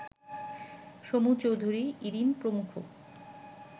সমু চৌধুরী, ইরিন প্রমুখ